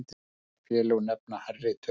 Önnur félög nefna hærri tölu.